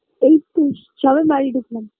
এই তো সবে বাড়ি ঢুকলাম